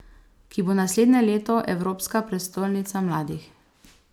Ki bo naslednje leto evropska prestolnica mladih.